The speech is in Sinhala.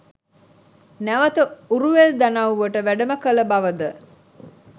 නැවත උරුවෙල් දනව්වට වැඩම කළ බවද